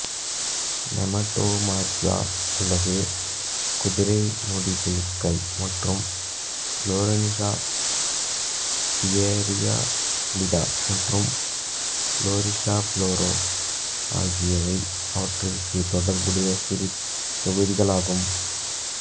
Nematomorpha அல்லது குதிரைமுடி புழுக்கள் மற்றும் கினோரின்ஜா பிரியபுலிடா மற்றும் லோரிசிஃபெரா ஆகியவை அவற்றுக்குத் தொடர்புடைய சிறு தொகுதிகள் ஆகும்